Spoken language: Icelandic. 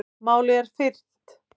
Málið er fyrnt.